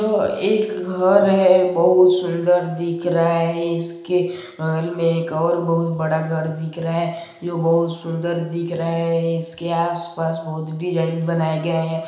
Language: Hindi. तो एक घर है बहुत ही सुंदर दिख रहा है इसके हॉल में एक और बहुत बड़ा घर दिख रहा है जो बहुत सुंदर दिख रहा है इसके आसपास बहोत (बहुत) डिज़ाइन बनाया गया है।